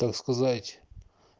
так сказать